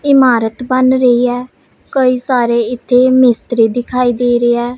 ਇਮਾਰਤ ਬਨ ਰਹੀ ਹੈ ਕਈ ਸਾਰੇ ਇੱਥੇ ਮਿਸਤ੍ਰੀ ਦਿਖਾਈ ਦੇ ਰਹੇਆ।